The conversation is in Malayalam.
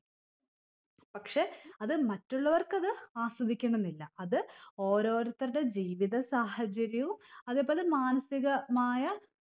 പക്ഷെ അത് മറ്റുള്ളവർക്ക് അത് ആസ്വദിക്കണംന്നില്ല അത് ഓരോരുത്തരുടെ ജീവിത സാഹചര്യവും അതെ പോലെ മാനസികമായ